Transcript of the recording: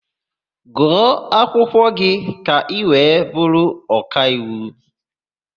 Gụọ akwụkwọ gị ka ị wee bụrụ ọkaiwu!